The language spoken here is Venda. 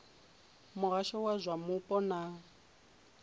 muhasho wa zwa mupo na